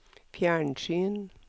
fjernsyn